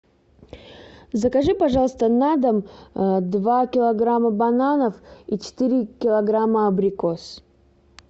закажи пожалуйста на дом два килограмма бананов и четыре килограмма абрикос